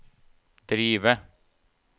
drive